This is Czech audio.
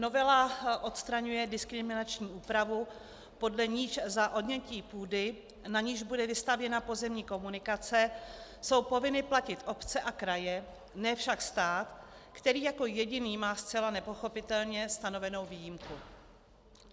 Novela odstraňuje diskriminační úpravu, podle níž za odnětí půdy, na níž bude vystavěna pozemní komunikace, jsou povinny platit obce a kraje, ne však stát, který jako jediný má zcela nepochopitelně stanovenu výjimku.